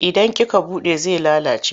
Idan kika buɗe zai lalace.